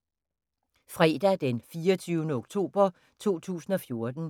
Fredag d. 24. oktober 2014